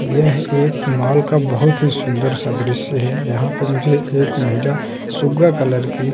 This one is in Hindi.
यह एक माल का बहोत ही सुन्दर सा दृश्य है। यहाँ पे मुझे एक महिला सुग्गा कलर की --